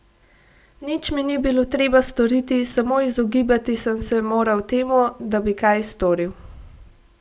Nič mi ni bilo treba storiti, samo izogibati sem se moral temu, da bi kaj storil.